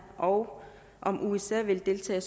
og om usa vil deltage